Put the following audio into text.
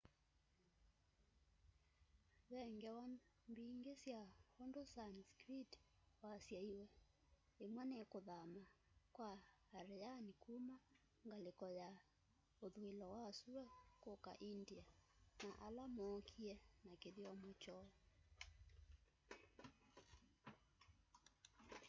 ve ngewa mbingi sya undu sanskrit wasyaiwe imwe ni kuthama kwa aryan kuma ngaliko ya uthuilo wa sua kuka india na ala mookie na kithyomo kyoo